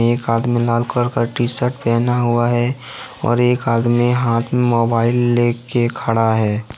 एक आदमी लाल कलर का टीशर्ट पहना हुआ है और एक आदमी हाथ मे मोबाइल लेके खड़ा है।